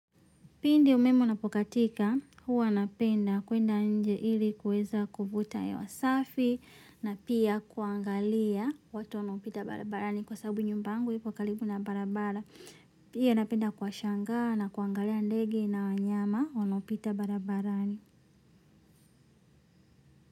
Pindi umeme unapo katika huwa napenda kwenda inje ili kuweza kuvuta hewa safi na pia kuangalia watu wanao pita barabarani kwa sababu nyumba yangu iko karibu na barabara. Pia napenda kuwashangaa na kuangalia ndege na wanyama wanao pita barabarani.